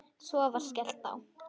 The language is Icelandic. Svo var skellt á.